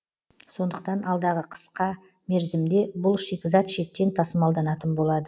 сондықтан алдағы қысқа мерзімде бұл шикізат шеттен тасымалданатын болады